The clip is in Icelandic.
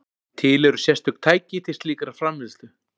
Til eru sérstök tæki til slíkrar framleiðslu.